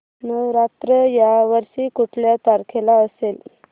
नवरात्र या वर्षी कुठल्या तारखेला असेल